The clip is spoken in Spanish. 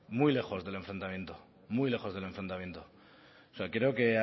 muy lejos del enfrentamiento muy lejos del enfrentamiento o sea creo que